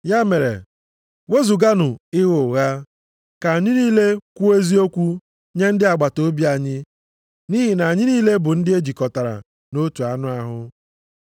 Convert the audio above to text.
Ya mere, wezuganụ ịgha ụgha, ka anyị niile kwuo eziokwu nye ndị agbataobi anyị, nʼihi na anyị niile bụ ndị e jikọtara nʼotu anụ ahụ.